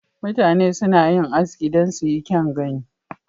Mutane suna yin Aski don su yi kyau gani.